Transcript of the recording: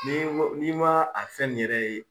Ni n ko ni ma a fɛn ni yɛrɛ ye